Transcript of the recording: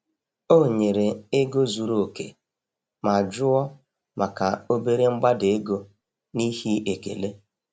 O nyere ego zuru oke ma jụọ maka obere mgbada ego n’ihi ekele.